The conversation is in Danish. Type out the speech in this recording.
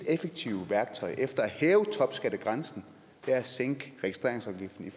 effektive værktøj i efter at hæve topskattegrænsen er at sænke registreringsafgiften